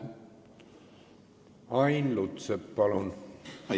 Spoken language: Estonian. Ain Lutsepp, palun!